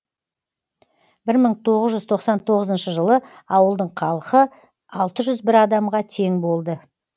бір мың тоғыз жүз тоқсан тоғызыншы жылы ауылдың қалхы алты жүз бір адамға тең болды